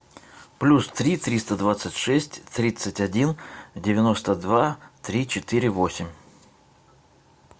плюс три триста двадцать шесть тридцать один девяносто два три четыре восемь